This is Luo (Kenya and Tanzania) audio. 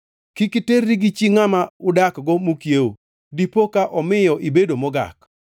“ ‘Kik iterri gi chi ngʼama udakgo mokiewo, dipo ka omiyo ibedo mogak.